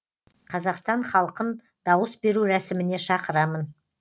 қазақстан халқын дауыс беру рәсіміне шақырамын